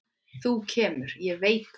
Þú kemur, ég veit það.